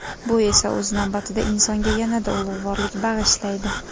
Bu esa, o‘z navbatida, insonga yanada ulug‘vorlik bag‘ishlaydi.